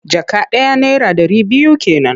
Jaka ɗaya naira ɗari biyu ke nan.